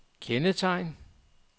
kendetegn